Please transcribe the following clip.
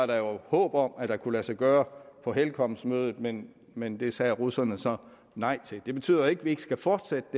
der var jo håb om at det kunne lade sig gøre på helcom mødet men men det sagde russerne så nej til det betyder jo ikke at vi ikke skal fortsætte